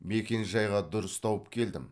мекенжайға дұрыс тауып келдім